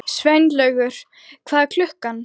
Sveinlaugur, hvað er klukkan?